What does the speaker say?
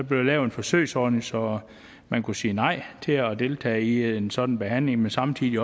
blev lavet en forsøgsordning så man kunne sige nej til at deltage i en sådan behandling men samtidig